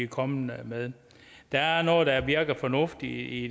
kommet med der er noget der virker fornuftigt i